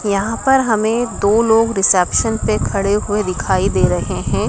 यहां पर हमे दो लोग रिसेप्शन पे खड़े हुए दिखाई दे रहे हैं।